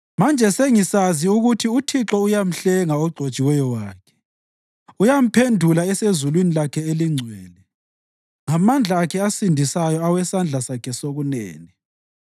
Manje sengisazi ukuthi uThixo uyamhlenga ogcotshiweyo wakhe; uyamphendula esezulwini lakhe elingcwele ngamandla Akhe asindisayo awesandla Sakhe sokunene.